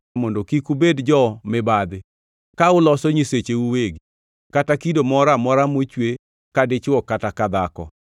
mondo kik ubed jo-mibadhi ka uloso nyisecheu uwegi, kata kido moro amora mochwe ka dichwo kata ka dhako,